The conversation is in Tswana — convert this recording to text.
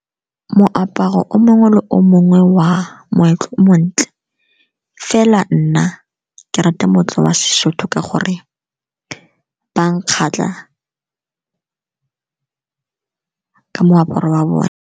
Moaparo o mongwe le o mongwe wa moetlo o montle fela nna ke rata moetlo wa seSotho ka gore ba nkgatlha ka moaparo wa bone.